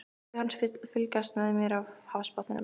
Augu hans fylgjast með mér af hafsbotninum.